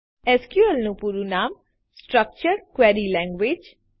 SQL નું પૂરું નામ છે સ્ટ્રક્ચર્ડ ક્વેરી લેન્ગવેજ